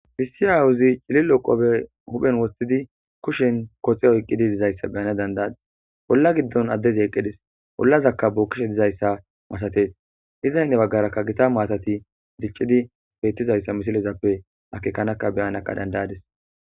Issi awuzzi huphphen cililo kopiyye wothidi kushen koxxe oyqqidi dizzayssa be77ans dandadis olla giddon addezi eqqi dees ollazakka bokkishe dizayssa masattees,ezappe hinni bagara dicciza mattay dizayssa akekkan beyanas dandayaddis.